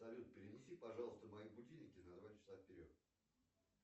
салют перенеси пожалуйста мои будильники на два часа вперед